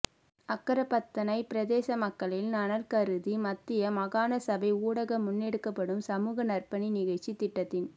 அக்கரப்பத்தனை பிரதேச மக்களின் நலன் கருதி மத்திய மாகாண சபை ஊடாக முன்னெடுக்கப்படும் சமூக நற்பணி நிகழ்ச்சி திட்டத்தின்